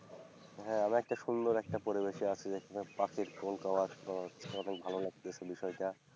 হ্যাঁ। আমি একটা সুন্দর একটা পরিবেশে আছি যেখানে পাখির tone আওয়াজ পাওয়া যাচ্ছে অনেক ভালো লাগছে বিষয়টা।